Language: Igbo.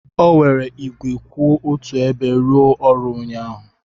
O were igwe kwụ otu ebe rụọ ọrụ ụnyaahụ.